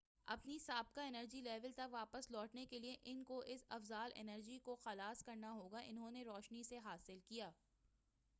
اپنی سابقہ energy level تک واپس لوٹنے کے لئے ان کو اس فاضل انرجی کو خلاص کرنا ہوگا انہوں نے روشنی سے حا صل کیا